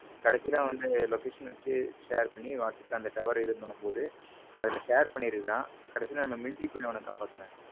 கடைசில வந்து location வச்சு share பண்ணி whatsapp ல இந்த tower இது பண்ணும் போது அதில் share பண்ணி இருக்கான் கடைசில நம்ம military போய் அவனை காப்பாத்துனாங்க.